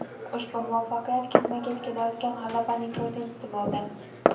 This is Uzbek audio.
Ushbu muvaffaqiyat ketma-ket kelayotgan g‘alabalarning to‘rtinchisi bo‘ldi.